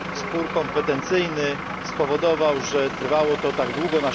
Spór kompetencyjny spowodował, że trwało to tak długo.